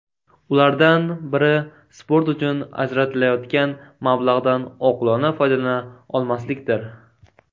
Ulardan biri sport uchun ajratilayotgan mablag‘dan oqilona foydalana olmaslikdir.